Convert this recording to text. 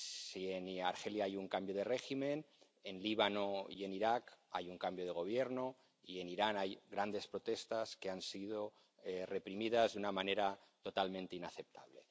Si en Argelia hay un cambio de régimen, en el Líbano y en Irak hay un cambio de gobierno, y en Irán hay grandes protestas que han sido reprimidas de una manera totalmente inaceptable.